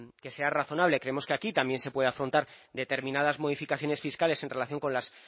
que que sea razonable creemos que aquí también se puede afrontar determinadas modificaciones fiscales en relación con las